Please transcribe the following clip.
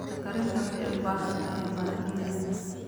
Cunto karinta waxay u baahan tahay maaddooyin.